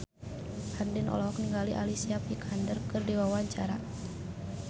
Andien olohok ningali Alicia Vikander keur diwawancara